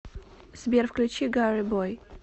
сбер включи гирибой